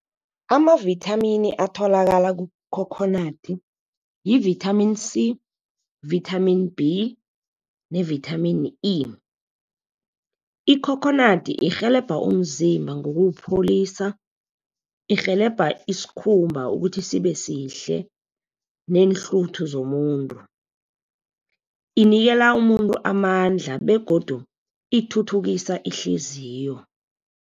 Amavithamini atholakala kukhokhonadi yi-vitamin C, vitamin B nevithamini E. Ikhokhonadi irhelebha umzimba ngokuwupholisa. Irhelebha iskhumba ukuthi sibesihle neenhluthu zomuntu. Inikela umuntu amandla begodu ithuthukisa ihliziyo.